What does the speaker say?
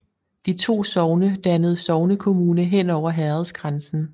De to sogne dannede sognekommune hen over herredsgrænsen